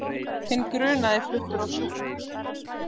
Hinn grunaði fluttur á sjúkrahús